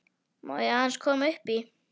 Má ég aðeins koma upp í?